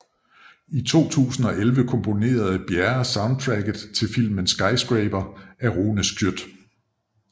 I 2011 komponerede Bjerre soundtracket til filmen Skyscraper af Rune Schjøtt